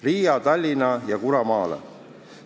Ria-, Tallinna- ja Kura-male".